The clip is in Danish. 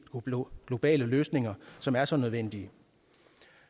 globale løsninger som er så nødvendige